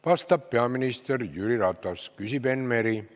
Vastab peaminister Jüri Ratas, küsib Enn Meri.